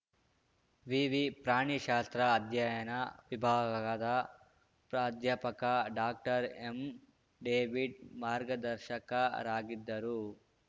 ವಿವಿ ಪ್ರಾಣಿ ಶಾಸ್ತ್ರ ಅಧ್ಯಯನ ವಿಭಾಗದ ಪ್ರಾಧ್ಯಾಪಕ ಡಾಕ್ಟರ್ಎಂಡೆವಿಡ್‌ ಮಾರ್ಗದರ್ಶಕರಾಗಿದ್ದರು